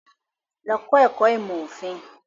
Lọ kọ́ ẹ̀kọ́ ìmọ̀ òfin.